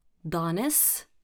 Danes?